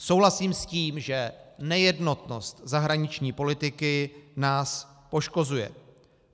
Souhlasím s tím, že nejednotnost zahraniční politiky nás poškozuje.